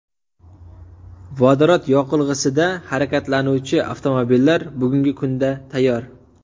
Vodorod yoqilg‘isida harakatlanuvchi avtomobillar bugungi kunda tayyor.